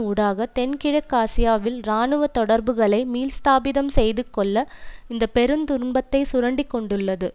ஊடாக தென்கிழக்காசியாவில் இராணுவ தொடர்புகளை மீள்ஸ்தாபிதம் செய்துக்கொள்ள இந்த பெருந்துன்பத்தை சுரண்டிக்கொண்டுள்ளது